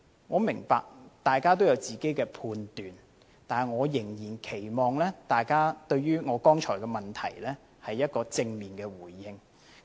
我明白大家都有自己的判斷，但仍然期望大家對於我剛才的問題有正面的回應。